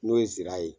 N'o ye nsira ye